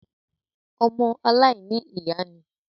ọmọ “ aláìní ìyá” ni.